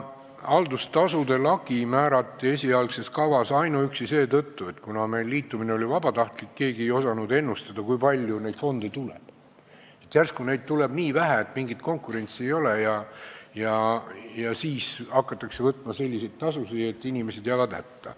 Haldustasude lagi määrati esialgses kavas ainuüksi seetõttu, et kuna liitumine oli meil vabatahtlik, siis keegi ei osanud ennustada, kui palju neid fonde tuleb – järsku neid tuleb nii vähe, et mingit konkurentsi ei ole, ja siis hakatakse võtma selliseid tasusid, et inimesed jäävad hätta.